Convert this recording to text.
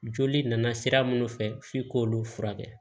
Joli nana sira minnu fɛ f'i k'olu furakɛ